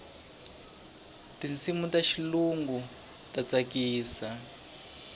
tinsimu ta xilungu a ti tsakisi